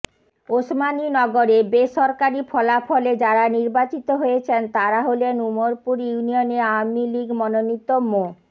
ওসমানীনগরে বেসরকারি ফলাফলে যারা নির্বাচিত হয়েছেন তারা হলেন উমরপুর ইউনিয়নে আওয়ামী লীগ মনোনীত মো